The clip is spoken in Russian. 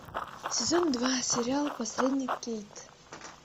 сезон два сериал посредник кейт